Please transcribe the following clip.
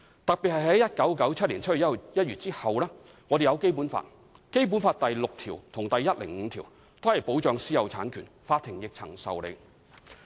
特別是在1997年7月1日後，我們有《基本法》，《基本法》第六條及第一百零五條均保障私人產權，法庭亦曾受理"。